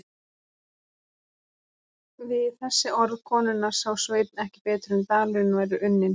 Við þessi orð konunnar sá Sveinn ekki betur en dalurinn væri unninn.